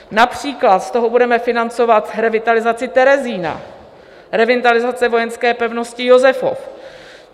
Například z toho budeme financovat revitalizaci Terezína, revitalizaci vojenské pevnosti Josefov.